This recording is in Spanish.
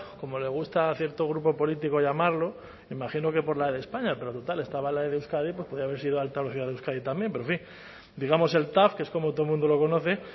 como le gusta a cierto grupo político llamarlo me imagino que por la e de españa pero total estaba la e de euskadi pues podía haber sido de alta velocidad de euskadi también pero en fin digamos el tav que es como todo el mundo lo conoce